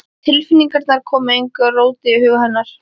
Tilfinningarnar koma engu róti á hug hennar.